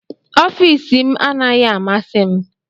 Ọfịs m anaghị amasị m